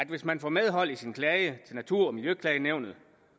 hvis man får medhold i sin klage til natur og miljøklagenævnet